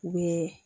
U bɛ